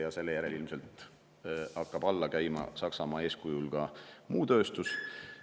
Ja selle järel ilmselt hakkab Saksamaa eeskujul alla käima ka riigi muu tööstus.